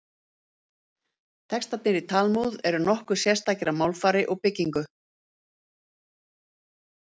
Textarnir í Talmúð eru nokkuð sérstakir að málfari og byggingu.